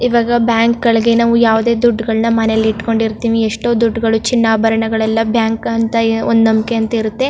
ಈವಾಗ ಬ್ಯಾಂಕ್ ಗಳಿಗೆ ನಾವು ಯಾವುದೆ ದುಡ್ಡ್ ಗಳನ್ನಾ ಮನೆಲಿ ಇಟ್ಟಕೊಂಡಿರಿತ್ತೀವಿ ಎಷ್ಟೋ ದುಡ್ಡ್ ಗಳು ಚಿನ್ನಾಭರಣಗಳೆಲ್ಲಾ ಬ್ಯಾಂಕ್ ಅಂತ ಒಂದು ನಂಬಿಕೆ ಅಂತ ಇರುತ್ತೆ.